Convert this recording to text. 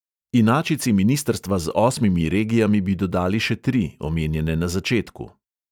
Inačici ministrstva z osmimi regijami bi dodali še tri, omenjene na začetku.